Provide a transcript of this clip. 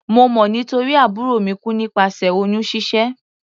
Mo mọ̀ nítorí àbúrò mi kú nípasẹ̀ oyún ṣíṣẹ́.